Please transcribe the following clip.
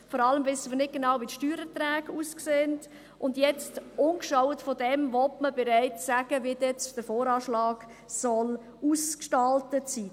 Vor allem wissen wir nicht genau, wie die Steuererträge aussehen, und jetzt will man, ohne dies gesehen zu haben, bereits sagen, wie dann der VA ausgestaltet sein soll.